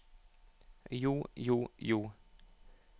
jo jo jo